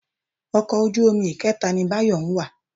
Ọkọ̀ ojú omi ìkẹta ni Báyọ̀ ń wà.